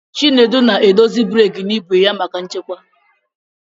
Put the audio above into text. Chinedu na-edozi breeki n'igwe ya maka nchekwa.